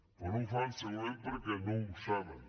però no ho fan segurament perquè no ho saben